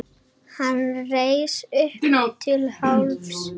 Hann reis upp til hálfs.